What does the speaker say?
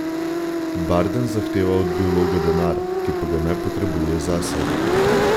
Bardens zahteva od biologa denar, ki pa ga ne potrebuje zase.